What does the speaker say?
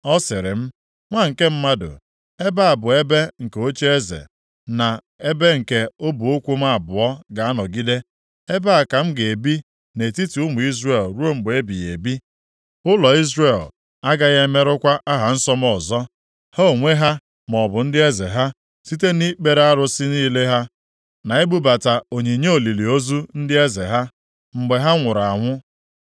Ọ sịrị m, “Nwa nke mmadụ, ebe a bụ ebe nke ocheeze, na ebe nke ọbụ ụkwụ m abụọ ga-anọgide, ebe a ka m ga-ebi nʼetiti ụmụ Izrel ruo mgbe ebighị ebi. Ụlọ Izrel agaghị emerụkwa aha nsọ m ọzọ, ha onwe ha maọbụ ndị eze ha, site nʼikpere arụsị niile ha na ibubata onyinye olili ozu ndị eze ha, mgbe ha nwụrụ anwụ.